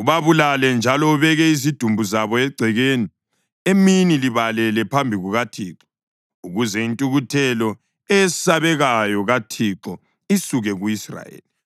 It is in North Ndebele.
ubabulale njalo ubeke izidumbu zabo egcekeni emini libalele phambi kukaThixo, ukuze intukuthelo eyesabekayo kaThixo isuke ku-Israyeli.”